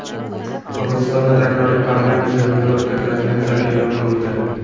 Qirg‘izistonda takroriy parlament saylovlari o‘tkaziladigan sana e’lon qilindi.